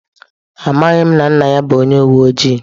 Amaghị m na nna ya bụ onye uwe ojii.